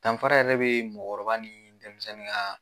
Danfara yɛrɛ bɛ mɔgɔkɔrɔba ni denmisɛnnin ka.